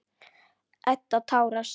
Edda tárast.